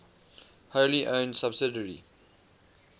wholly owned subsidiary